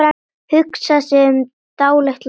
Hugsar sig um dálitla stund.